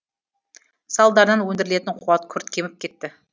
салдарынан өндірілетін қуат күрт кеміп кетті